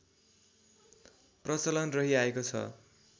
प्रचलन रहि आएको छ